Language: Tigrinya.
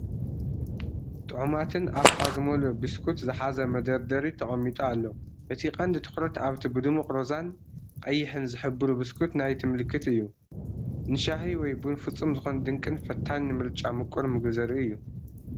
ጥዑማትን ኣፍካ ዝመልኡን ቢስኩት ዝሓዘ መደርደሪ ተቐሚጡ ኣሎ። እቲ ቀንዲ ትኹረት ኣብቲ ብድሙቕ ሮዛን ቀይሕን ዝሕብሩ ቢስኩት ናይቲ ምልክት እዩ። ንሻሂ ወይ ቡን ፍጹም ዝኾነ ድንቅን ፈታኒን ምርጫ ምቁር ምግቢ ዘርኢ እዩ፡፡